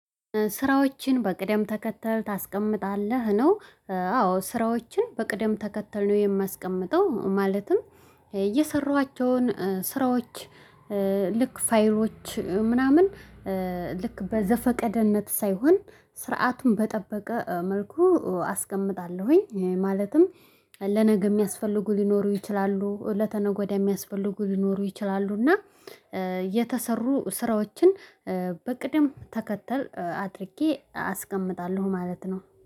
ስራዎችን በቅደም ተከተል ታስቀምጣለህ ነው? አዎ ስራዎችን በቅደም ተከተል ነው የማስቀምጠው። ማለትም እየሰሯኋቸውን ስራዎች ልክ ፋይሎች ምናምን። ልክ በዘፈቀድነት ሳይሆን ስርዓቱን በጠበቀ መልኩ አስቀምጣለሁኝ። ማለትም ለነገ የሚያስፈልጉ ሊኖሩ ይችላሉ ለተነገ ወዲያ የሚያስፈልጉ ሊኖሩ ይችላሉ። እና የተሰሩ ስራዎችን በቅድም ተከተል አድርጌ አስቀምጣለሁ ማለት ነው